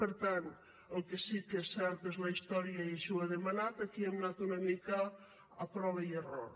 per tant el que sí que és certa és la història i així ho ha demanat aquí hem anat una mica a prova i error